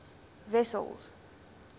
wessels